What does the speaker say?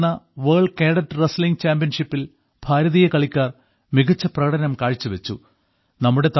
റോമിൽ നടന്ന world cadet wrestling ചാമ്പ്യൻഷിപ്പിൽ ഭാരതീയ കളിക്കാർ മികച്ച പ്രകടനം കാഴ്ചവെച്ചു